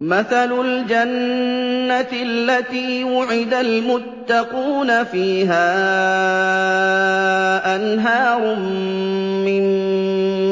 مَّثَلُ الْجَنَّةِ الَّتِي وُعِدَ الْمُتَّقُونَ ۖ فِيهَا أَنْهَارٌ مِّن